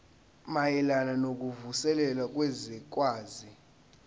mayelana nokuvuselela kwezwekazi